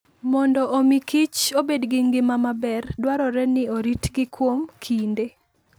Mondo omi kich obed gi ngima maber, dwarore ni oritgi kuom kinde.